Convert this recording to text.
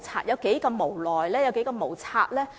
政府有多無奈、多無策呢？